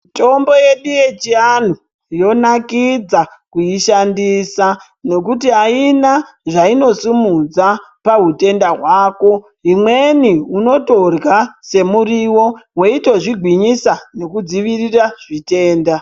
Mitombo yedu yechianhu, yonakidza kuishandisa, nekuti aina zvainosimudza pahutenda hwako, imweni unotorya semuriwo, weitozvigwinyisa nekudzivirira zvitenda.